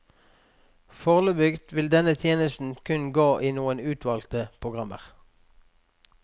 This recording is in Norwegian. Foreløpig vil denne tjenesten kun gå i noen utvalgte programmer.